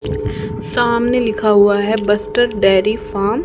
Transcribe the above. सामने लिखा हुआ है बस्टर डेयरी फार्म --